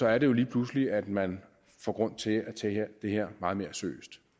er er det jo lige pludselig at man får grund til at tage det her meget mere seriøst